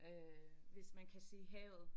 Øh hvis man kan se havet